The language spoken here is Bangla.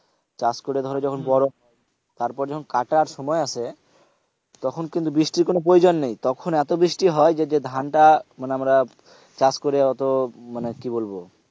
চাষ করে ধর যখন বড়ো হয় তারপরে যখন কাটার সময় আসে তখন কিন্তু বৃষ্টির কোন প্রয়োজন নেই তখন এতো বৃষ্টি হয় যে ধানটা মানে আমরা চাষ করে ওতো মানে কি বলবো,